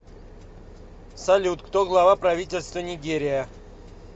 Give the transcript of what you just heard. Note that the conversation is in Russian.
салют кто глава правительства нигерия